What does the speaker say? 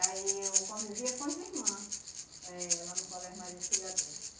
Aí eu convivia com as irmã eh lá no colégio Maria Auxiliadora.